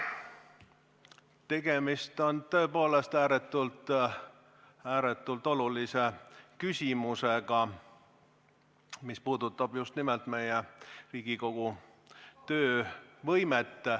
Tegemist on tõepoolest ääretult olulise küsimusega, mis puudutab just nimelt Riigikogu töövõimet.